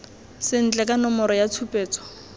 sentle ka nomoro ya tshupetso